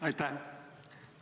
Aitäh!